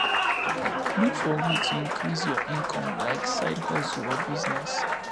look for ways to increase your income like side hustle or business